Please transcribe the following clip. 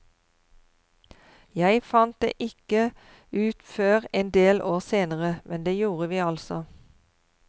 Jeg fant det ikke ut før en del år senere, men det gjorde vi altså.